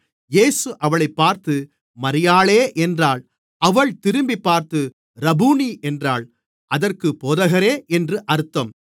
இயேசு அவளைப் பார்த்து மரியாளே என்றார் அவள் திரும்பிப்பார்த்து ரபூனி என்றாள் அதற்குப் போதகரே என்று அர்த்தம்